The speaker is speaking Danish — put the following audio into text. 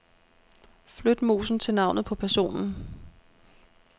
Flyt musen til navnet på personen.